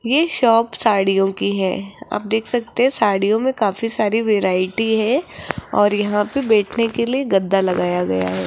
ये शॉप साड़ियों की है आप देख सकते सड़ियो में काफी सारी वैरायटी है और यहां पे बैठने के लिए गद्दा लगाया गया --